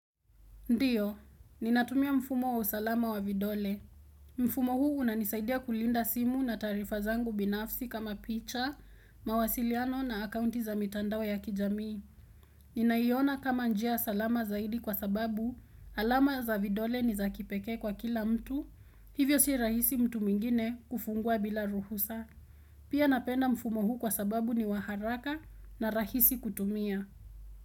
Ndiyo, ninatumia mfumo wa usalama wa vidole. Mfumo huu unanisaidia kulinda simu na taarifa zangu binafsi kama picha, mawasiliano na akaunti za mitandao ya kijamii. Ninaiona kama njia salama zaidi kwa sababu alama za vidole ni za kipekee kwa kila mtu, hivyo si rahisi mtu mwingine kufungua bila ruhusa. Pia napenda mfumo huu kwa sababu ni waharaka na rahisi kutumia.